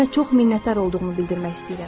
Sənə çox minnətdar olduğumu bildirmək istəyirəm.